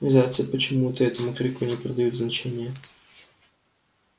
но зайцы почему-то этому крику не придают значения